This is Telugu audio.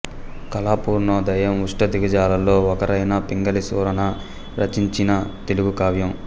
కళాపూర్ణోదయం అష్టదిగ్గజాలలో ఒకరైన పింగళి సూరన రచించిన తెలుగు కావ్యం